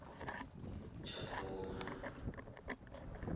tshakhuma